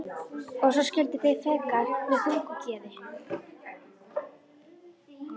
Og svo skildu þeir feðgar með þungu geði.